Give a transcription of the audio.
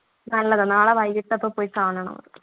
നല്ലതാ നാളെ വൈകിയിട്ട് പോയി കാണണം